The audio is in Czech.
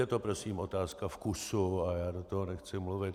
Je to prosím otázka vkusu a já do toho nechci mluvit.